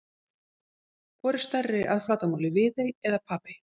Hvor er stærri að flatarmáli, Viðey eða Papey?